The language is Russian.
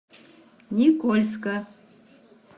никольска